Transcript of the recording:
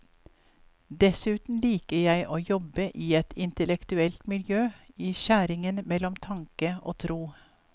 Dessuten liker jeg å jobbe i et intellektuelt miljø, i skjæringen mellom tanke og tro.